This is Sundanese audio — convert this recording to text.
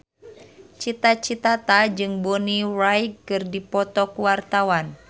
Cita Citata jeung Bonnie Wright keur dipoto ku wartawan